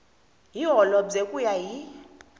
hi holobye ku ya hi